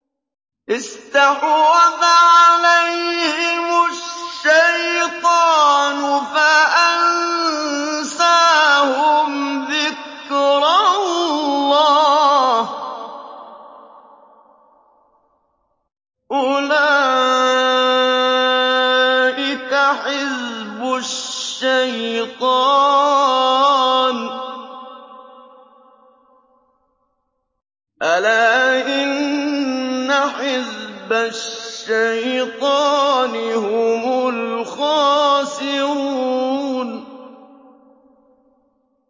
اسْتَحْوَذَ عَلَيْهِمُ الشَّيْطَانُ فَأَنسَاهُمْ ذِكْرَ اللَّهِ ۚ أُولَٰئِكَ حِزْبُ الشَّيْطَانِ ۚ أَلَا إِنَّ حِزْبَ الشَّيْطَانِ هُمُ الْخَاسِرُونَ